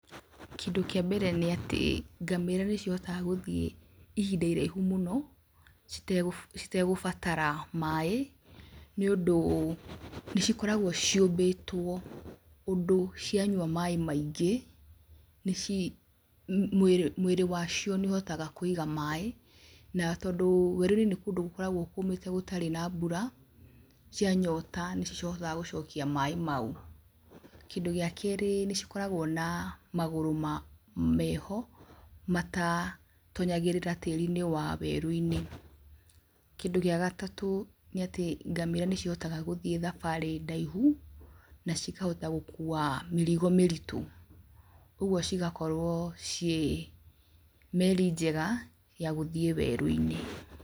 Kindũ kĩa mbere nĩatĩ, ngamĩra nĩcihotaga gũthiĩ ihinda iraihu mũno, citegũ citegũbatara maĩ, nĩũndũ nĩcikoragwo ciũmbĩtwo ũndũ cianyua maĩ maingĩ, nĩci mwĩrĩ mwĩrĩ wacio nĩũhotaga kũiga maĩ, na tondũ werũinĩ nĩ kũndũ gũkoragwo kũmĩte gũtarĩ na mbura, cia nyota nĩcihotaga gũcokia maĩ mau, kindũ gĩa kerĩ, nĩcikoragwo na magũrũ ma meho, matatonyagĩrĩrĩra tĩrinĩ wa werũinĩ. Kindũ gĩa gatatũ, nĩatĩ ngamĩra nĩcihotaga gũthiĩ thabarĩ ndaihu, na cikahota gũkua mĩrigo mĩritũ, ũguo cigakorwo ciĩ meri njega ya gũthiĩ weruinĩ.